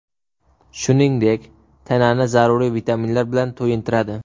Shuningdek, tanani zaruriy vitaminlar bilan to‘yintiradi.